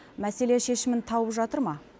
мәселе шешімін тауып жатыр ма